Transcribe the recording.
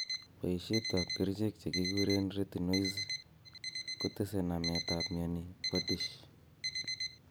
Poiset ap kerichek che kiguren retinoids Kotese namet ap mioni po DISH.